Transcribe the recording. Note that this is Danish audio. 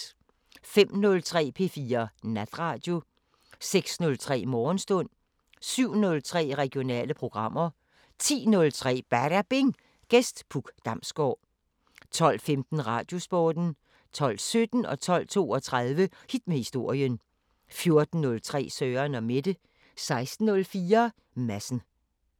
05:03: P4 Natradio 06:03: Morgenstund 07:03: Regionale programmer 10:03: Badabing: Gæst Puk Damsgård 12:15: Radiosporten 12:17: Hit med historien 12:32: Hit med historien 14:03: Søren & Mette 16:04: Madsen